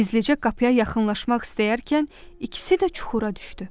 Gizlicə qapıya yaxınlaşmaq istəyərkən ikisi də çuxura düşdü.